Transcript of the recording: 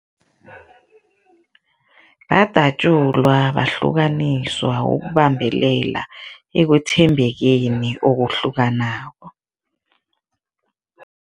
Badatjulwa, bahlukaniswa ukubambelela ekwethembekeni okuhlukanako.